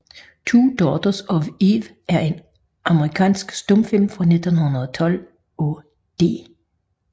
Two Daughters of Eve er en amerikansk stumfilm fra 1912 af D